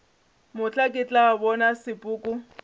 mohla ke tla bona sepoko